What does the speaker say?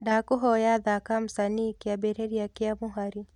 ndakũhoya thaka msanii kiambiriria kia muhari